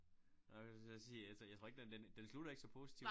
Nej jeg skulle til at sige altså jeg tror ikke den den den slutter ikke så positivt